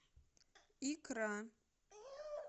икра